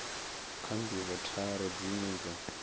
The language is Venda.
kha ndivho tharu dzine dza